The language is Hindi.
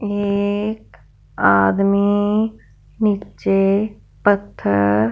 एक आदमी नीचे पत्थर--